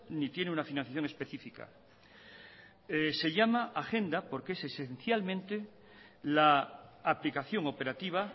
ni tiene una financiación específica se llama agenda porque es esencialmente la aplicación operativa